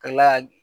Ka tila ka